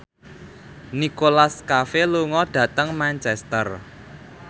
Nicholas Cafe lunga dhateng Manchester